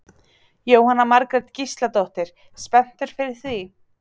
Jóhanna Margrét Gísladóttir: Spenntur fyrir því?